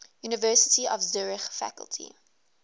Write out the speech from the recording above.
university of zurich faculty